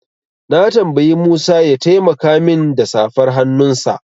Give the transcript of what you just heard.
Na tambayi Musa ya taimaka min da safar hannunsa.